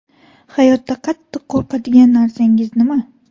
Hayotda qattiq qo‘rqadigan narsangiz nima?